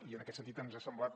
i en aquest sentit ens ha semblat